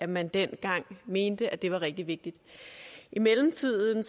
man dengang mente at det var rigtig vigtigt i mellemtiden